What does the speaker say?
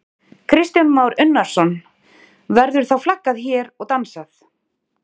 Kristján Már Unnarsson: Verður þá flaggað hér og dansað?